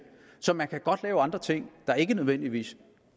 så man kan godt lave andre ting der ikke nødvendigvis